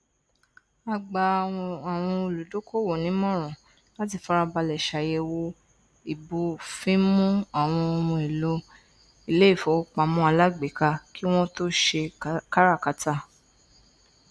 a gba àwọn olùdókòwò nímọran láti farabalẹ ṣàyẹwò ìbófinmu àwọn ohunèlò iléìfowópamọ alágbèéká kí wọn tó ṣe káràkátà